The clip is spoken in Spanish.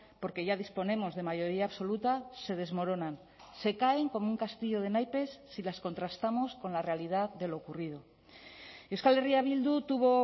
porque ya disponemos de mayoría absoluta se desmoronan se caen como un castillo de naipes si las contrastamos con la realidad de lo ocurrido euskal herria bildu tuvo